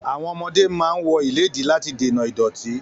Àwọn ọmọdé máa ń wọ ìledtí láti dènà ìdọ̀tí